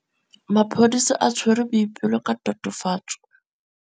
Maphodisa a tshwere Boipelo ka tatofatsô ya polaô.